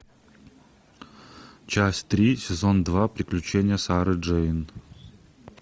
часть три сезон два приключения сары джейн